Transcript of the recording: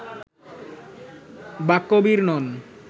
বাক্যবীর নন